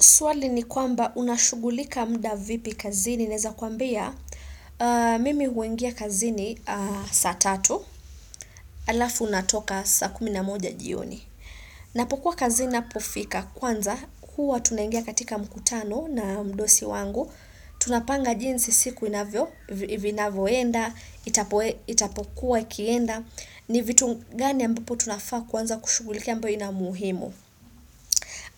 Swali ni kwamba unashugulika muda vipi kazini. Naeza kwambia, mimi huingia kazini saa tatu. Alafu natoka saa kumi na moja jioni. Napokuwa kazini ninapofika kwanza. Hua tunaingia katika mkutano na mdosi wangu. Tunapanga jinsi siku inavyo. Inavyoenda. Itapokuwa ikienda. Ni vitu gani ambapo tunafaa kwanza kushugulikia ambayo inamuhimu.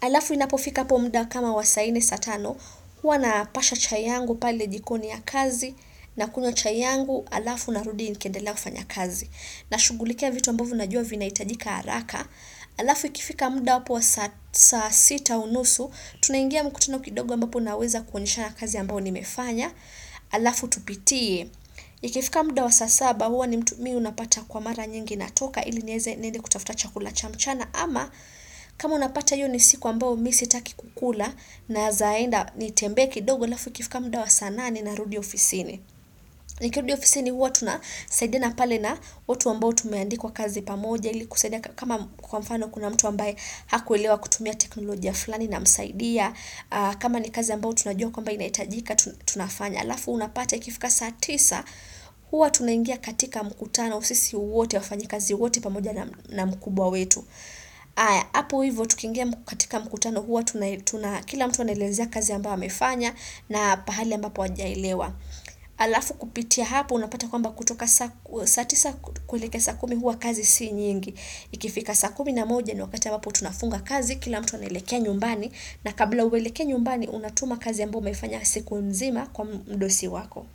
Alafu inapofika hapo mda kama wa saa nne saa tano. Hwa napasha chai yangu pale jikoni ya kazi na kunywa chai yangu alafu narudi nikendelea kufanya kazi. Na shugulikia vitu ambavyo najua vinahitajika haraka. Alafu ikifika muda hapo wa sasa sita unusu. Tunaingia mkutano kidogo ambapo naweza kuonyeshana kazi ambayo nimefanya. Alafu tupitie. Ikifika muda wa sasa saba huwa ni mtu mimi unapata kwa mara nyingi natoka ili niweze niende kutafuta chakula cha mchana. Ama kama unapata hiyo ni siku ambao mimi sitaki kukula naezaenda ni tembee kidogo alafu ikifika muda wa saa nane narudi ofisini. Nikirudi ofisini huwa tunasaidiana pale na watu ambao tumeandikwa kazi pamoja ili kusaidia kama kwa mfano kuna mtu ambaye hakuelewa kutumia teknolojia fulani namsaidia. Kama ni kazi ambao tunajua kwamba inaitajika tunafanya. aLafu unapata ikifika saa tisa huwa tunaingia katika mkutano sisi wote wafanyi kazi wote pamoja na mkubwa wetu. Apo hivyo, tukingia katika mkutano huwa, kila mtu anaelezea kazi ambayo amefanya na pahali ambapo hajaelewa. Alafu kupitia hapo, unapata kwamba kutoka saa tisa kuwelekea saa kumi huwa kazi si nyingi. Ikifika saa kumi na moja ni wakati ambapo tunafunga kazi, kila mtu anaelekea nyumbani, na kabla uelekee nyumbani, unatuma kazi ambayo umefanya siku mzima kwa mdosi wako.